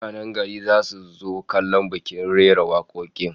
Mutanen garin zasu zo kallon bikin rera wakokin